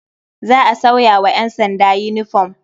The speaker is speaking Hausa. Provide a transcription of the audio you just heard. Za a sauya wa ƴansanda yinifom.